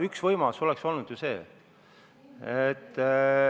Üks võimalusi oleks olnud ju see.